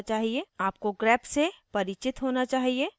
आपको grep से परिचित होना चाहिए